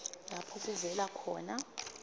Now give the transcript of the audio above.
lapho kuvela khona